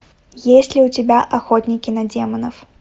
есть ли у тебя охотники на демонов